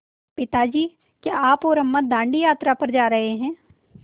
पिता जी क्या आप और अम्मा दाँडी यात्रा पर जा रहे हैं